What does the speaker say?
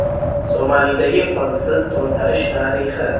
Somalidagi qonsiz to‘ntarish tarixi.